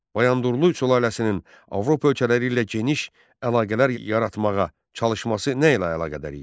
Bayandurlu sülaləsinin Avropa ölkələri ilə geniş əlaqələr yaratmağa çalışması nə ilə əlaqədar idi?